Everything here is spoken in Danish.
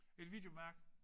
Et videoværk?